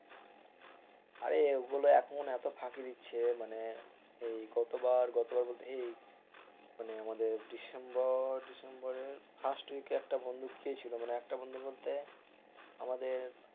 আরে ওগুলো এখন এত ফাঁকি দিচ্ছে মানে এই গতবার এই আমাদের ডিসেম্বর ডিসেম্বরের first week একটা বন্ধু গিয়েছিল একটা বন্ধু বলতে আমাদের,